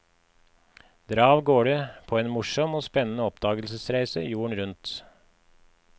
Dra avgårde på en morsom og spennende oppdagelsesreise jorden rundt.